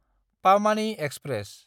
पामानि express